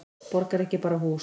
Borg er ekki bara hús.